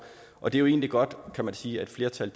og det er jo egentlig godt kan man sige at et flertal